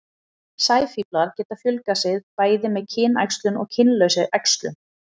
sæfíflar geta fjölgað sér bæði með kynæxlun og kynlausri æxlun